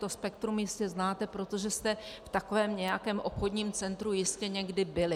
To spektrum jistě znáte, protože jste v takovém nějakém obchodním centru jistě někdy byli.